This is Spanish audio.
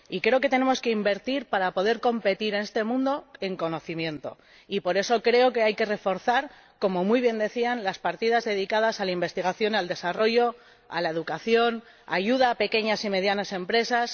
y creo que tenemos que invertir para poder competir, en este mundo, en conocimiento y por eso creo que hay que reforzar, como muy bien decían, las partidas dedicadas a la investigación, al desarrollo, a la educación y a la ayuda a las pequeñas y medianas empresas.